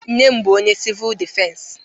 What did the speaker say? Nne m bụ onye sivul dịfensi